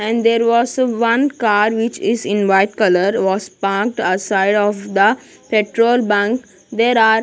And there was one car which is in white color was parked outside of the petrol bank there are --